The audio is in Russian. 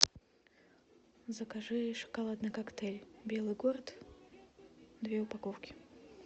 закажи шоколадный коктейль белый город две упаковки